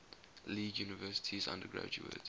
league universities undergraduate